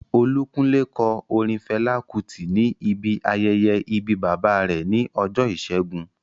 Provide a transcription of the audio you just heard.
Olúkúnlé kọ orin Fẹlá Kútì ní ibi ayẹyẹ ìbí bàbá rẹ̀ ní ọjọ́ ìṣẹ́gun